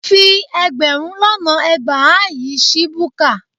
Fi ẹgbẹ̀rún lọ́nà ẹgbàá yìí ṣí búkà